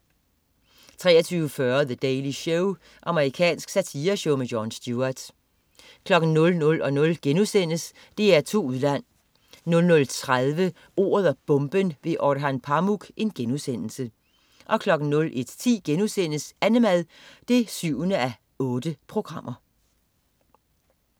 23.40 The Daily Show. Amerikansk satireshow med Jon Stewart 00.00 DR2 Udland* 00.30 Ordet og bomben: Orhan Pamuk* 01.10 Annemad 7:8*